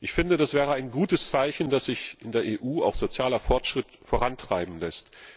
Ich finde, das wäre ein gutes Zeichen, dass sich in der EU auch sozialer Fortschritt vorantreiben lässt.